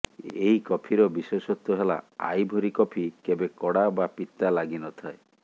ଏହି କଫିର ବିଶେଷତ୍ୱ ହେଲା ଆଇଭୋରୀ କଫି କେବେ କଡ଼ା ବା ପିତା ଲାଗିନଥାଏ